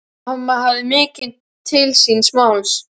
Mamma hafði mikið til síns máls.